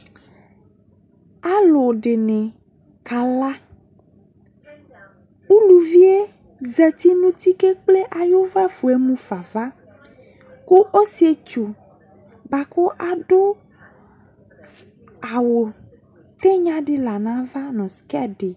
Alu de ne kala, uluvie zati no uti ko ekple aye ufafue mu fava ko ɔsietsu boako ado ss awu tenya la no ava no skɛt de